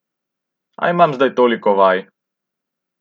A imam zdaj toliko vaj ...